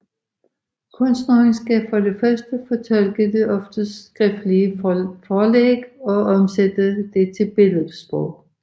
Kunstneren skal for det første fortolke det oftest skriftlige forlæg og omsætte det til billedsprog